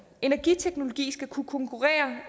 energiteknologi skal kunne konkurrere